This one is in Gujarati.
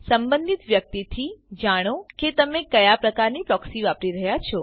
સંબંધિત વ્યક્તિથી જાણો કે તમે કયા પ્રકારની પ્રોક્સી વાપરી રહ્યા છો